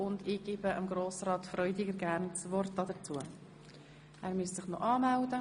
Gerne erteile ich Grossrat Freudiger das Wort zu dessen Begründung.